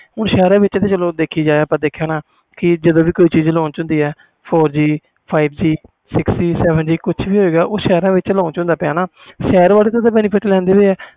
ਹੁਣ ਸ਼ਹਿਰ ਵਿਚ ਤਾ ਦੇਖੀ ਜਾਵੇ ਹਾਣਾ ਜਦੋ ਵੀ ਕੋਈ ਚੀਜ਼ ਹੁੰਦੀ ਕੁਛ ਵੀ launch ਹੋਵੇ ਗਏ four G five G six G seven G ਉਹ ਸ਼ਹਿਰ ਵਿਚ ਹੁੰਦਾ ਪਿਆ ਸ਼ਹਿਰ ਵਾਲੇ ਤਾ benefit ਲੈਂਦੇ ਪਏ ਆ